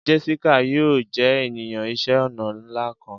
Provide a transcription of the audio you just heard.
Jessica yoo jẹ eniyan iṣẹ ọna nla kan.